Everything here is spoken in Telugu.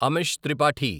అమిష్ త్రిపాఠి